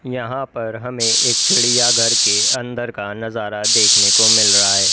यहां पर हमें एक चिड़ियाघर के अंदर का नजारा देखने को मिल रहा है।